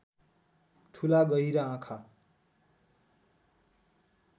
ठूला गहिरा आँखा